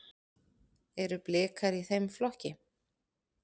Eru Blikar í þeim flokki?